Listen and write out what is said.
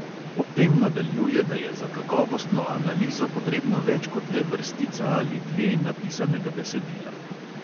Ob tem nadaljuje, da je za kakovostno analizo potrebno več kot le vrstica ali dve napisanega besedila.